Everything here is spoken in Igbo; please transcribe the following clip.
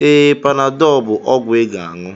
Ee, Panadọ bụ ọgwụ ị ga-aṅụ